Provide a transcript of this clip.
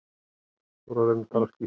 En hvaða gjöld eru þetta?